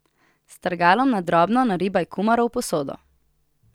S strgalom na drobno naribaj kumaro v posodo.